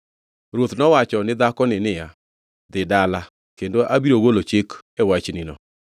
Ruoth nowacho ni dhakoni niya, “Dhi dala, kendo abiro golo chik e wachnino.”